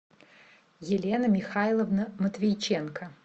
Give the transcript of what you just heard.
елена михайловна матвейченко